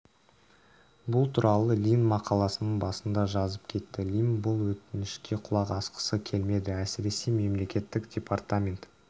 бұл туралы лимн мақаласының басында жазып кетті лимн бұл өтінішке құлақ асқысы келмеді әсіресе мемлекеттік департамент